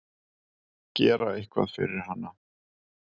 Gera eitthvað fyrir hana.